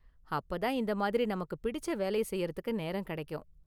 அப்ப தான், இந்த மாதிரி நமக்கு பிடிச்ச வேலைய செய்றதுக்கு நேரம் கிடைக்கும்.